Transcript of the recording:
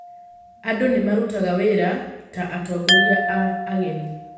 Andũ nĩ marutaga wĩra ta atongoria a ageni.